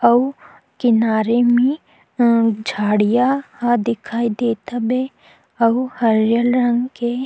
अउ किनारे में अ झड़ीया दिखाई देत हबे अउ हरियर रंग के--